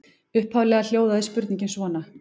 Upphaflega hljóðaði spurningin svona: